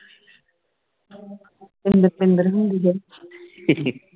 ਪਿੰਦਰ ਪਿੰਦਰ ਹੁੰਦੀ ਹੈ